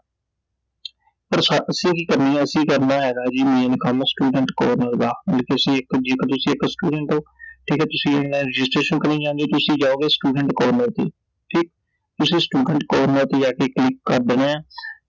ਪਰ ਅਸੀਂ ਕਿ ਕਰਨੀ ਐ ਅਸੀਂ ਕਰਨਾ ਹੈਗਾ ਜੀ main ਕੰਮ student corner ਦਾ ਜੇ ਤੁਸੀਂ ਇਕ ਜੇਕਰ ਤੁਸੀਂ ਇਕ student ਓ ਠੀਕ ਐ ਤੁਸੀਂ online registration ਕਰਨੀ ਚਾਹੁੰਦੇ ਓ ਤੁਸੀਂ ਜਾਓਂਗੇ student corner ਤੇ ਠੀਕ ਤੁਸੀਂ student corner ਤੇ ਜਾਕੇ click ਕਰ ਦੇਣੈ